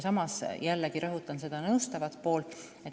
Samas rõhutan jällegi nõustamise poolt.